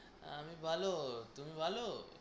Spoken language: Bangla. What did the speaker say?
আমি ভালো, তুমি ভালো?